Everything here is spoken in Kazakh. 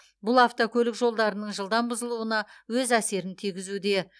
бұл автокөлік жолдарының жылдам бұзылуына өз әсерін тигізуде